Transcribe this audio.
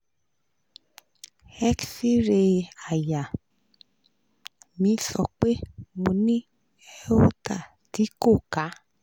x-ray àyà mi sọ pé mo ní aorta tí ko ka